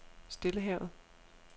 Stillehavet